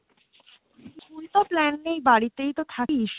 এইতো plan নেই বাড়িতেইতো থাকি